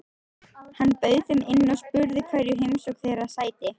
Hann bauð þeim inn og spurði hverju heimsókn þeirra sætti.